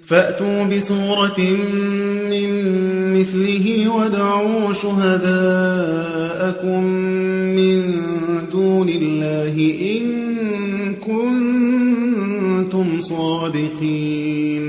فَأْتُوا بِسُورَةٍ مِّن مِّثْلِهِ وَادْعُوا شُهَدَاءَكُم مِّن دُونِ اللَّهِ إِن كُنتُمْ صَادِقِينَ